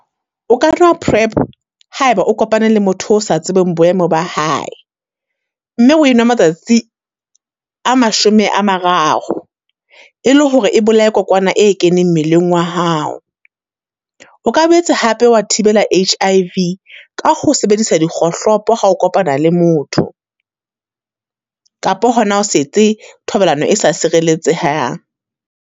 O ka nwa prep ha e ba o kopane le motho o sa tsebeng boemo ba hae. Mme o e nwa matsatsi a mashome a mararo, e le hore e bolae kokwana e keneng mmeleng wa hao. O ka boetse hape wa thibela H_I_V ka ho sebedisa dikgohlopo ha o kopana le motho, kapa hona ho se etse thobalano e sa sireletsehang.